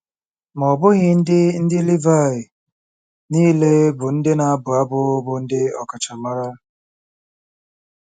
Ma ọ bụghị ndị ndị Livaị niile bụ́ ndị na-abụ abụ bụ ndị ọkachamara.